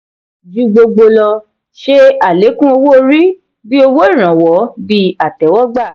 ju gbogbo lọ; ṣe alekun owó orí bí owó ìrànwọ́ bíi àtéwógbà.